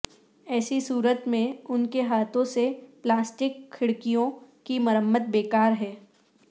ایسی صورت میں ان کے ہاتھوں سے پلاسٹک کھڑکیوں کی مرمت بیکار ہے